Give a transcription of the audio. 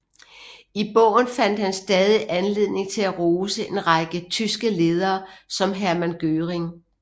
I bogen fandt han stadig anledning til at rose en række tyske ledere som Hermann Göring